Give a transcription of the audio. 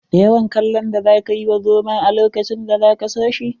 Da yawan kallon da za ka yi wa zomon a lokacin za ka so shi.